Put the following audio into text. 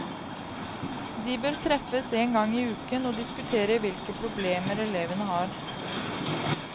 De bør treffes en gang i uken og diskutere hvilke problemer elevene har.